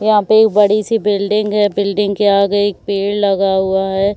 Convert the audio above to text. यहाँ पे एक बड़ी सी बिल्डिंग है बिल्डिंग के आगे एक पेड़ लगा हुआ है।